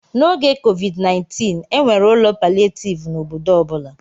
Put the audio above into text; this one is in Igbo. N'oge COVID-19, e nwere ụlọ palịetivu n'obodo ọ bụla.